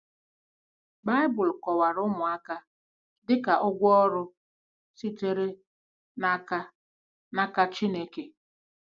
Baịbụl kọwara ụmụaka dị ka “ụgwọ ọrụ” sitere n’aka n’aka Chineke.